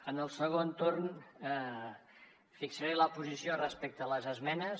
en el segon torn fixaré la posició respecte a les esmenes